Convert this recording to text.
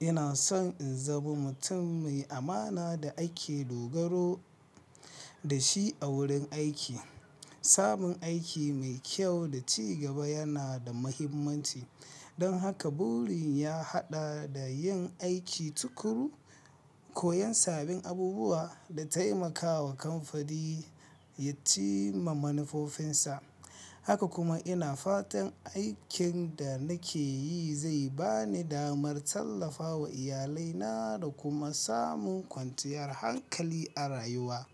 Inason in zama mutum mai amana da ake dogaro dashi a wurin aiki. Samun aiki mai kyau da ci gaba yana da mahimmanci, don haka buri ya haɗa da yin aiki tuƙuru, koyon sabin abubuwa da taimakawa kamfani ya cimma manufofinsa. Haka kuma ina fatan aikin da nake yi zai bani damar tallafawa Iya laina da kuma samun kwanciyar hankali a rayuwa.